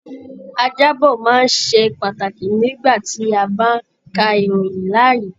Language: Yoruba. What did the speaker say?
Ajábọ̀ máa n sé pàtàkì nígbà tí a bá n ká ìròyìn láàyè.